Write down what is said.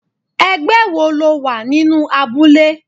Ẹgbẹ́ wo lo wà nínú abúlé?